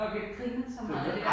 Og vi har grinet så meget af det